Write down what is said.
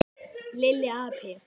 Lilli api!